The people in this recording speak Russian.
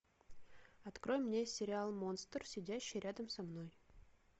открой мне сериал монстр сидящий рядом со мной